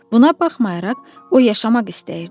Buna baxmayaraq, o yaşamaq istəyirdi.